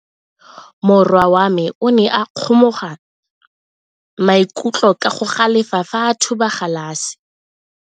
Morwa wa me o ne a kgomoga maikutlo ka go galefa fa a thuba galase.